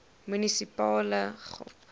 munisipale gop